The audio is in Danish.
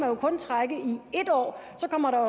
jo kun trække i et år så kommer der